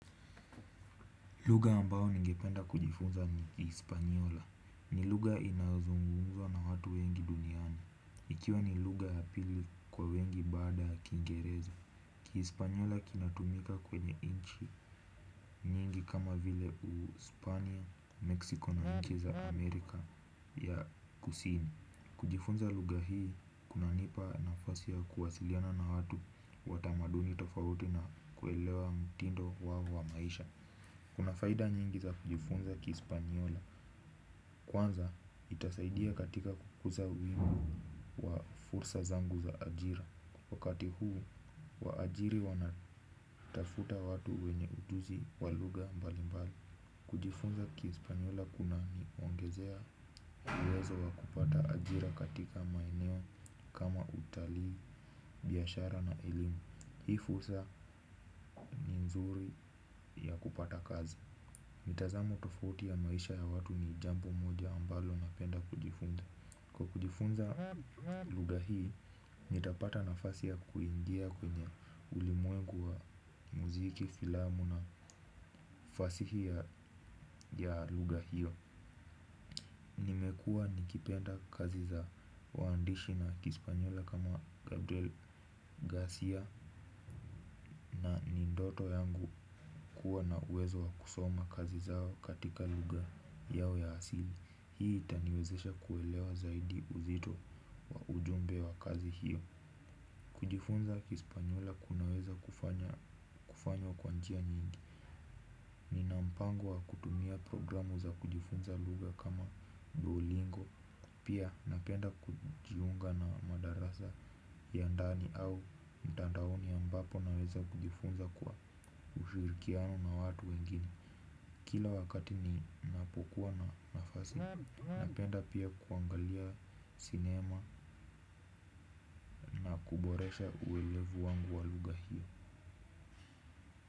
Luga ambao ningependa kujifunza ni kispanyola. Ni luga inazungunza na hatu wengi duniani. Ikiwa ni luga ya pili kwa wingi baada ya kingereza. Kiispanyola kinatumika kwenye inchi nyingi kama vile u Spania, Mexico na nchi za Amerika ya Kusini. Kujifunza lugha kunanipa nafasi ya kuwasiliana na watu wa tamaduni tofauti na kuelewa mtindo wao wa maisha. Kuna faida nyingi za kujifunza kispanyola. Kwanza itasaidia katika kukuza uimu wa fursa zangu za ajira. Wakati huu wa ajiri wanatafuta watu wenye ujuzi wa lugha mbali mbali. Kujifunza kispanyola kuna ni wangezea uwezo wa kupata ajira katika maineo kama utali, biashara na ilimu. Hii fursa ni nzuri ya kupata kazi. Mitazamo tofauti ya maisha ya watu ni jambo moja ambalo na penda kujifunza. Kwa kujifunza luga hii, nitapata nafasi ya kuingia kwenye ulimwengu wa muziki, filamu na fasihi ya luga hiyo. Mekua nikipenda kazi za waandishi na kispanyola kama Gabriel Garcia na ni ndoto yangu kuwa na uwezo wa kusoma kazi zao katika luga yao ya asili. Hii itaniwezesha kuelewa zaidi uzito wa ujumbe wa kazi hiyo. Kujifunza kispanyola kunaweza kufanya kufanywa kwa njia nyingi. Nina mpango wa kutumia programu za kujifunza luga kama duolingo. Pia napenda kujiunga na madarasa ya ndani au mtandaoni ambapo naweza kujifunza kwa ushirikiano na watu wengine kila wakati ninapokuwa na nafasi napenda oia kuangalia sinema na kuboresha uelevu wangu wa lugha hiyo.